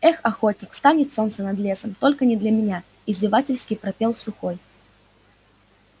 эх охотник встанет солнце над лесом только не для меня издевательски пропел сухой